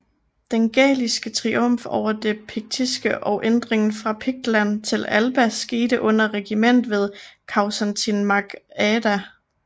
Den gæliske triumf over det piktiske og ændringen fra Piktland til Alba skete under regimet ved Causantín mac Áeda